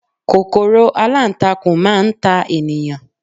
kòkòrò alantakun ma n ta eniyan